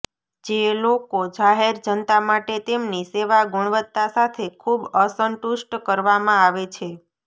જે લોકો જાહેર જનતા માટે તેમની સેવા ગુણવત્તા સાથે ખૂબ અસંતુષ્ટ કરવામાં આવે છે